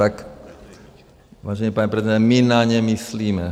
Tak, vážený pane prezidente, my na ně myslíme.